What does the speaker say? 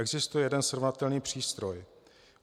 Existuje jeden srovnatelný přístroj.